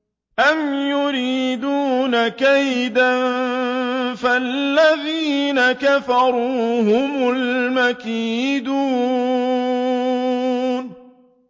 أَمْ يُرِيدُونَ كَيْدًا ۖ فَالَّذِينَ كَفَرُوا هُمُ الْمَكِيدُونَ